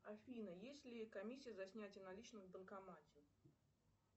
афина есть ли комиссия за снятие наличных в банкомате